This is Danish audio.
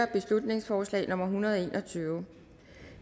beslutningsforslag nummer hundrede og en og tyve